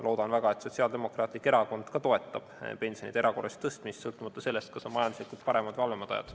Loodan väga, et Sotsiaaldemokraatlik Erakond toetab samuti pensioni erakorralist tõstmist, sõltumata sellest, kas majanduslikult on paremad või halvemad ajad.